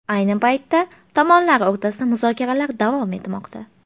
Ayni paytda tomonlar o‘rtasida muzokaralar davom etmoqda.